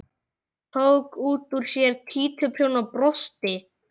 Tók út úr sér títuprjón og brosti.